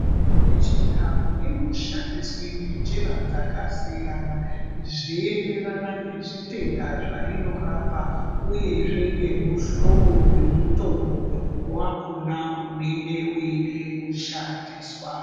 Mitombo ye chindau ino shandiswe nge njira dzaka siyana zvei enderana nge zvitenda zvainorapa uyezve nge muhlobo we mutombo wakona unenge weide kushandiswa.